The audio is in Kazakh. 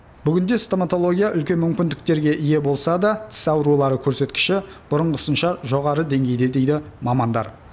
бүгінде стоматология үлкен мүмкіндіктерге ие болса да тіс аурулары көрсеткіші бұрынғысынша жоғары деңгейде дейді мамандар